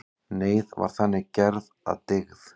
Neyð var þannig gerð að dygð.